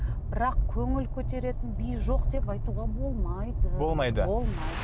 бірақ көңіл көтеретін би жоқ деп айтуға болмайды болмайды болмайды